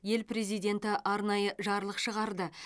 ел президенті арнайы жарлық шығарды